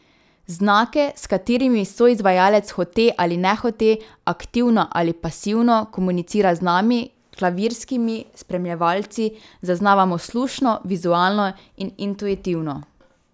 Znake, s katerimi soizvajalec hote ali nehote, aktivno ali pasivno komunicira z nami, klavirskimi spremljevalci, zaznavamo slušno, vizualno in intuitivno.